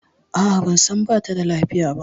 A a ban san ba ta da lafiya ba.